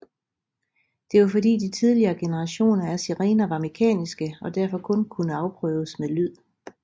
Det var fordi de tidligere generationer af sirener var mekaniske og derfor kun kunne afprøves med lyd